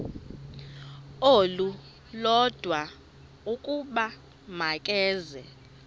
olulodwa ukuba makeze